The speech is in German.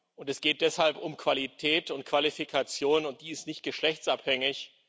Und es geht deshalb um Qualität und Qualifikation, und die ist nicht geschlechtsabhängig.